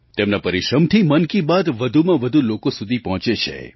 તેમના પરિશ્રમથી મન કી બાત વધુમાં વધુ લોકો સુધી પહોંચે છે